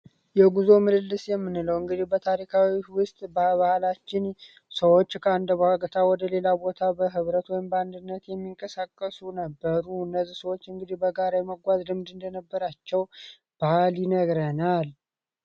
የጉዞ ምልልስ የምንለው እንግዲህ በታሪካዊ ውስጥ ባህላችን ሰዎች ከአንድ ቦታ ወደ ሌላ ቦታ በህብረት ወይም በአንድነት የሚንቀሳቀሱ ነበሩ እነዚህ ሰዎች እንግዲህ በጋራ የመጓዝ ልምድ እንደነበራቸው ባህል ይነግረናል።